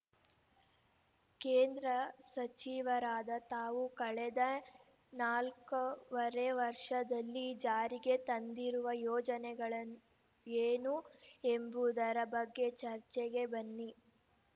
ಕೇಂದ್ರ ಸಚಿವರಾದ ತಾವು ಕಳೆದ ನಾಲ್ಕೂವರೆ ವರ್ಷದಲ್ಲಿ ಜಾರಿಗೆ ತಂದಿರುವ ಯೋಜನೆಗಳನ್ ಏನು ಎಂಬುದರ ಬಗ್ಗೆ ಚರ್ಚೆಗೆ ಬನ್ನಿ